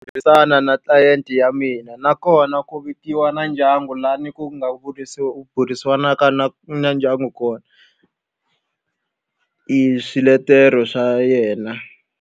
Ku tirhisana na tlilayenti ya mina, nakona ku vikiwa na ndyangu laha ni ku nga burisanaka na na ndyangu kona hi swiletelo swa yena.